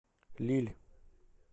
лилль